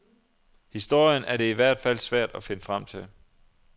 Historien er det i hvert fald svært at finde frem til.